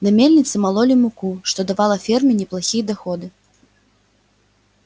на мельнице мололи муку что давало ферме неплохие доходы